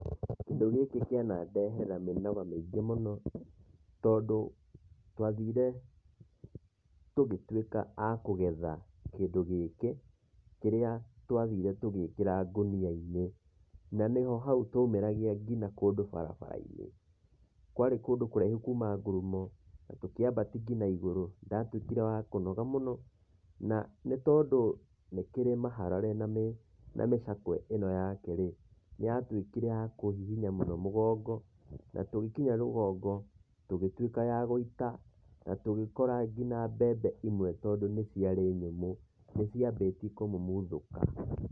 Kĩndũ gĩkĩ kĩanandehera mĩnoga mĩingĩ mũno, tondũ twathire tũgĩtuĩka a kũgetha kĩndũ gĩkĩ, kĩrĩa twathire tũgĩkĩra ngũnia-inĩ, na nĩho hau twaumĩragia nginya kũndũ barabara-inĩ, kwarĩ kũndũ kũraihu kuuma ngurumo, tũkĩambatia nginya igũrũ nĩ ndatuĩkire wa kũnoga mũno, na nĩ tondũ nĩ kĩrĩ mĩharare na mĩcakwe ĩno yake-rĩ, nĩ yatuĩkire ya kũhihinya mũno mũgongo, tũgĩkinya rũgongo tũgĩtuĩka a gũita tũgĩkora nginya mbembe imwe tondũ ciarĩ nyũmũ, nĩ ciambĩtie kũmumuthũka.